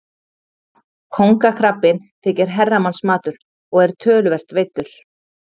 Kóngakrabbinn þykir herramannsmatur og er töluvert veiddur.